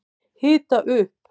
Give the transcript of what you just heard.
Hita upp